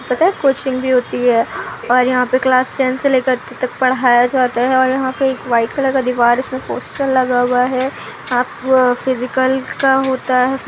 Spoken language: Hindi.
पता है कोचिंग भी होती है और यहाँ पर क्लास टेन से लेकर त तक पढ़ाया जाता है और यहाँ एक वाइट कलर का दीवार है उसमें पोस्टर लगा हुआ है आप फिजिकल का होता है।